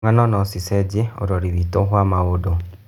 Ng'ano no cicenjie ũrĩa ũrori witũ wa maũndũ